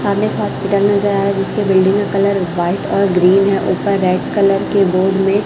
सामने एक हॉस्पिटल नजर आ रहा है जिसके बिल्डिंग का कलर व्हाइट और ग्रीन है ऊपर रेड कलर के बोर्ड में--